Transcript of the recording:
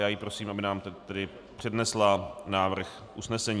Já ji prosím, aby nám teď přednesla návrh usnesení.